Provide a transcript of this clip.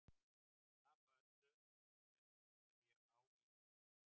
Tapa öllu sem ég á í því.